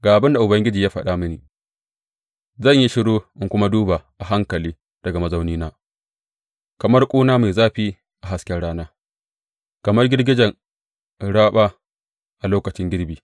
Ga abin da Ubangiji ya faɗa mini, Zan yi shiru in kuma duba a hankali daga mazaunina, kamar ƙuna mai zafi a hasken rana, kamar girgijen raba a lokacin girbi.